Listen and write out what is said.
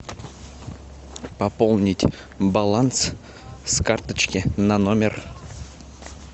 пополнить баланс с карточки на номер